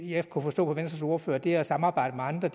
jeg kunne forstå på venstres ordfører at det at samarbejde med andre